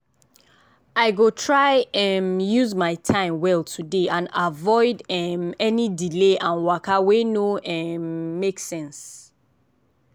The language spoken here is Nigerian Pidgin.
i go try um use my time well today and avoid um any delay and waka wey no um make sense.